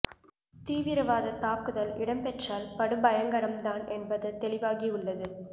தீவிரவாத தாக்குதல் இடம்பெற்றால் படு பயங்கரம் தான் என்பது தெளிவாகியுள்ளது